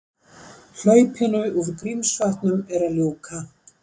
Hlaupinu úr Grímsvötnum er að ljúka